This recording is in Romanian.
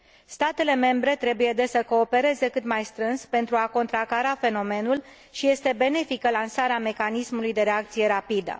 Statele membre trebuie, deci, să coopereze cât mai strâns pentru a contracara fenomenul și este benefică lansarea mecanismului de reacție rapidă.